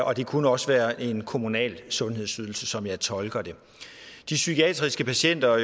og det kunne også være en kommunal sundhedsydelse sådan som jeg tolker det de psykiatriske patienter